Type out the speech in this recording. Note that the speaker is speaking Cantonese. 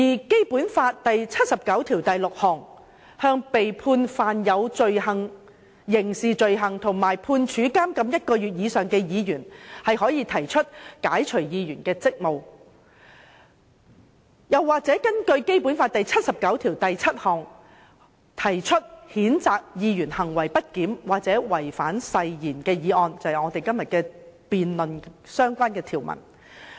《基本法》第七十九條第六項規定，立法會議員如被判犯有刑事罪行及判處監禁一個月以上，可被解除議員職務。又或者根據《基本法》第七十九條第七項，對行為不檢或違反誓言的議員提出譴責議案，即我們今天辯論的相關條文。